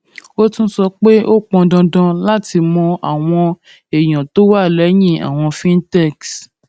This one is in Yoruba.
ó tún sọ pé ó pọn dandan láti mọ àwọn àwọn èèyàn tó wà lẹyìn àwọn fintechs